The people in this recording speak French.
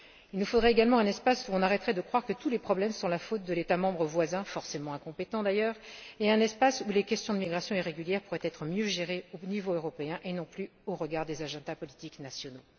Il nous faut également un espace où on arrête de croire que tous les problèmes sont de la faute de l'État membre voisin, forcément incompétent d'ailleurs, et un espace où les questions de migration irrégulière peuvent être mieux gérées au niveau européen et non plus au regard des agendas politiques nationaux.